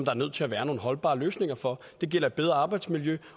er nødt til at være nogle holdbare løsninger for det gælder et bedre arbejdsmiljø